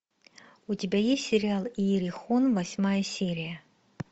у тебя есть сериал иерихон восьмая серия